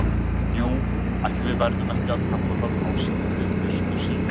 Jú, ætli við verðum ekki að kalla það ást við fyrstu sýn.